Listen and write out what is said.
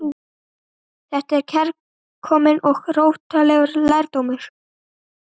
Þetta var kærkominn og róttækur lærdómur.